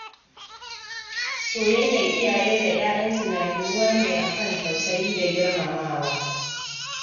Soyayyar iyaye da 'ya'yansu na ginuwa ne akan tausayi da girmamawa.